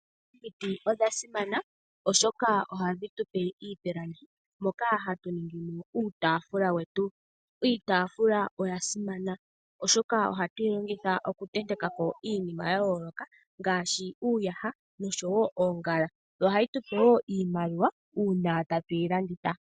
Omiti odha simana oshoka ohadhi tupe iipilangi moka hatu ningimo uutafula wetu, iitafula oya simana oshoka ohatu yi longitha okutentekako iinima tayooloka ngaashi uuyaha no sho woo oongala yo ohayi tupe wo iimaliwa uuna tatu yi landitha.